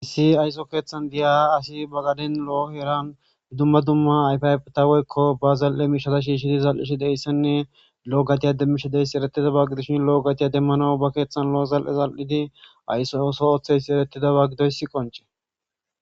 Hissi ayso keeththan diyaha asi bagadin lo'o heran dumma dumma yfiayf taweykko ba zal'e miishata shiishshidi zal'ishi deyssanne loo gatiya demmisha deyssi eretida ba gidishin lo'o gatiya demmano ba keeththan lo'o zal7e zal'idi aysso oso ooththeyssi erettida ba gidoyss qonche.